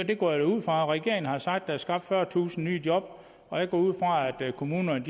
det går jeg da ud fra regeringen har sagt at der er skabt fyrretusind nye job og jeg går ud fra at kommunerne